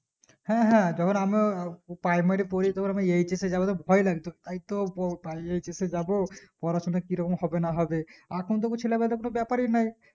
হ্যাঁ হ্যাঁ যেকোন আমরা ও primary পরি তখন HS এ যাবো তা ভয় লাগতো তাই তো বউ পালিয়ে কথা যাবো পড়াশোনা কি রকম হবে না হবে এখন তবু চেলাকটার কোনো ব্যাপারী নাই